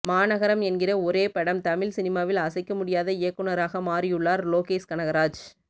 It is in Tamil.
மாநகரம் என்கிற ஒரே படம் தமிழ் சினிமாவில் அசைக்க முடியாத இயக்குநராக மாறியுள்ளார் லோகேஷ் கனகராஜ்